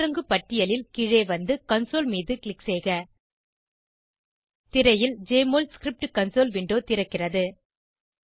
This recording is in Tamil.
கீழிறங்கு பட்டியலில் கீழே வந்து கன்சோல் மீது க்ளிக் செய்க திரையில் ஜெஎம்ஒஎல் ஸ்கிரிப்ட் கன்சோல் விண்டோ திறக்கிறது